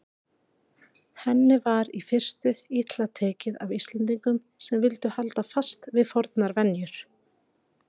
Henni var í fyrstu illa tekið af Íslendingum sem vildu halda fast við fornar venjur.